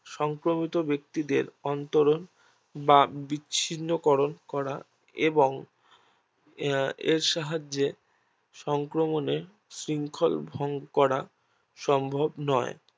সংক্রমিত ব্যাক্তিদের অন্তরম বা বিচ্ছিন্ন করন করা এবং আহ এর সাহায্যে সংক্রমণের শৃঙ্খল ভঙ্গ করা সম্ভব নয়